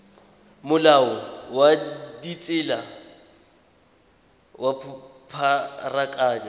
molao wa ditsela wa pharakano